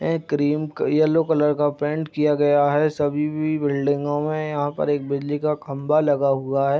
ए cream yellow colour का paint किया गया है सभी भी बिल्डिंगो में यहाँ पर एक बिजली का खंभा लगा हुआ है।